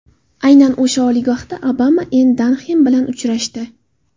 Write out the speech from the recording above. Aynan o‘sha oliygohda Obama Enn Danxem bilan uchrashdi.